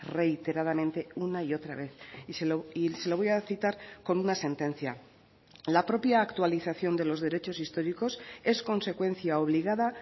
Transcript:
reiteradamente una y otra vez y se lo voy a citar con una sentencia la propia actualización de los derechos históricos es consecuencia obligada